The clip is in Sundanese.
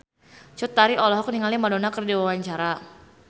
Cut Tari olohok ningali Madonna keur diwawancara